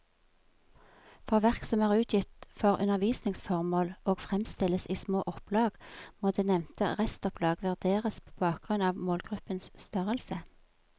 For verk som er utgitt for undervisningsformål og fremstilles i små opplag, må det nevnte restopplag vurderes på bakgrunn av målgruppens størrelse.